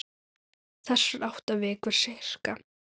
Þessar átta vikur, sirka.